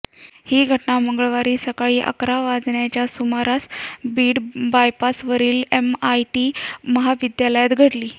ही घटना मंगळवारी सकाळी अकरा वाजण्याच्या सुमारास बीड बायपासवरील एमआयटी महाविद्यालयात घडली